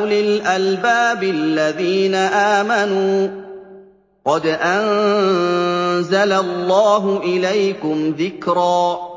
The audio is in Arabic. أُولِي الْأَلْبَابِ الَّذِينَ آمَنُوا ۚ قَدْ أَنزَلَ اللَّهُ إِلَيْكُمْ ذِكْرًا